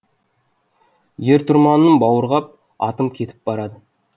ер тұрманын бауырға ап атым кетіп барады